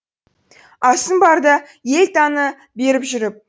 асың барда ел таны беріп жүріп